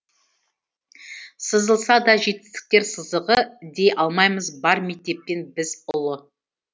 сызылса да жетістіктер сызығы дей алмаймыз бар мектептен біз ұлы